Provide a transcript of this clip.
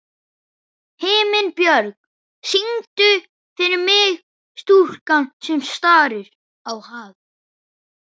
Himinbjörg, syngdu fyrir mig „Stúlkan sem starir á hafið“.